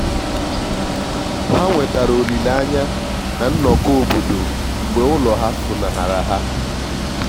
ha nwetara olile anya na nnọkọ obodo mgbe ulo ha funahara ha.